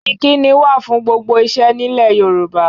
Ìkíni wà fún gbogbo iṣẹ́ nílẹ̀ Yorùbá